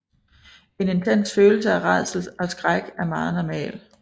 En intens følelse af rædsel og skræk er meget normal